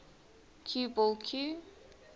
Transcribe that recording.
cue ball cue